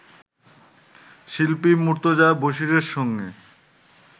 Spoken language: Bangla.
শিল্পী মুর্তজা বশীরের সঙ্গে